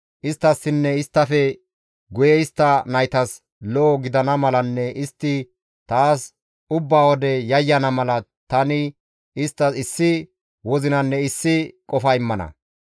Isttassinne isttafe guye istta naytas lo7o gidana malanne istti taas ubba wode yayyana mala tani isttas issi wozinanne issi qofa immana.